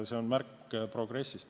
See on märk progressist.